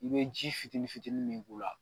I bɛ ji fitinin fitinin min k'u la